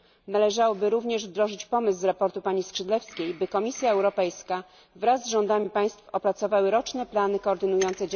Należałoby również wdrożyć pomysł ze sprawozdania pani Skrzydlewskiej, by Komisja Europejska wraz z rządami państw opracowały roczne plany koordynujące...